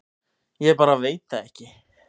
Ég bara veit það ekki